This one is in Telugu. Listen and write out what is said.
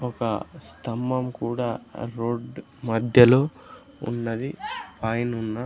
ఒక స్థంభం కూడా రోడ్ మధ్యలో ఉన్నది పైనున్న.